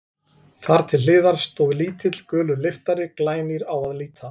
Þar til hliðar stóð lítill, gulur lyftari, glænýr á að líta.